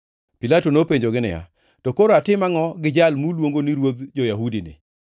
Pilato nopenjogi niya, “To koro atim angʼo gi Jal muluongo ni ruodh jo-Yahudini?”